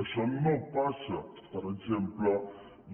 això no passa per exemple